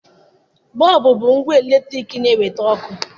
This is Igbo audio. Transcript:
Bọọbụ bụ ngwa eletriki na-eweta ọkụ.